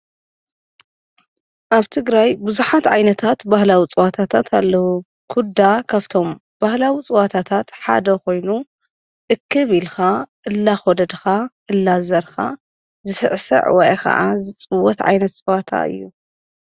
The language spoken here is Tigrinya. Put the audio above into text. ኣብ ትግራይ ብዙሓት ዓይነታት ባህላዊ ፀዋታታት ኣለዉ፡፡ ኲዳ ካፍቶም ባህላዊ ፀዋታታት ሓደ ኾይኑ እክብ ኢልኻ እላኾደድኻ እላዘርካ ዝስዕስዕ ወይ ኸዓ ዝፅወት ዓይነት ፀዋታ እዩ፡፡